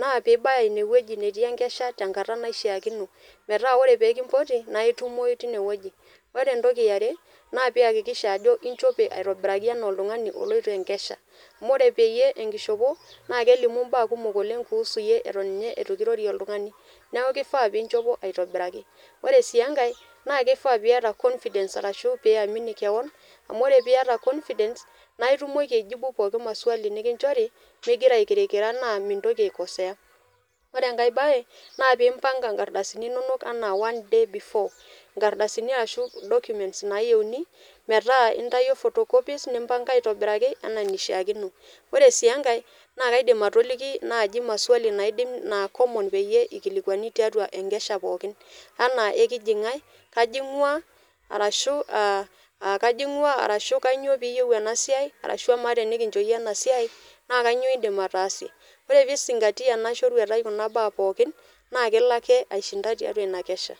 naa piibaya ine wueji netii enkesha tenkata naishaakino metaa ore pee kimpoti nae itumoyu tine wueji, Ore entoki e are naa piakikisha ajo injope aitobiraki enaa oltung'ani oloito enkesha amu ore peyie enkishopo naake elimu mbaa kumok oleng' kuhusu iyie eton nye itu kirorie oltung'ani, neeku ifaa piinchopo aitobiraki. Ore sii enkae naake ifaa piyata confidence arashu piamini keon amu ore piiyata confidence, naae itumoki aijibu pooki maswali nekinjori ming'ira ikirikira naa mintoki aikosea. Ore enkae baye naa piimpang'a nkardasini inonok enaa one day before, nkardasini ashu documents naayeuni metaa intayuo photocopies, nimpang'a aitobiraki enaa enishaakino. Ore sii enkae naake aidim atoliki naaji maswali naidim naa common peyie ikilikuani tiatua enkesha pookin anaa ekiji nkae, kaji ng'ua arashu aa a kaji ng'ua arashu kanyoo piiyeu ena siai arashu amaa tenikinjo iyie ena siai naa kanyoo iindim ataasie. Ore piizing'atia ena shoruetai kuna baa pookin naake elo ake aishinda tiatua ina kesha.